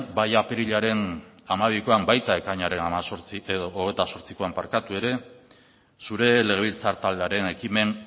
bai apirilaren hamabikoan baita ekainaren hogeita zortzikoan ere zure legebiltzar taldearen ekimen